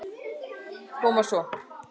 Koma svo.